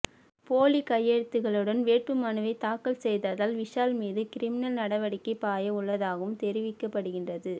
போலி கையெழுத்துகளுடன் வேட்புமனுவைத் தாக்கல் செய்ததால் விஷால் மீது கிரிமினல் நடவடிக்கை பாய உள்ளதாகவும் தெரிவிக்கப்படுகின்றது